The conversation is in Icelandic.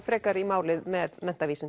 frekar í málið með